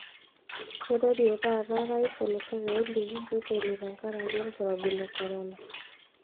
Keirorie taata orais olosho pee eliki reteni tenkaraki olkirobi le korona.